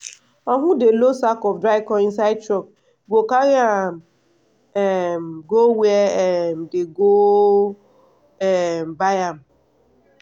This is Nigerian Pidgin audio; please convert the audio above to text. uncle dey load sack of dry corn inside truck wey go carry um go where um dey go um buy am.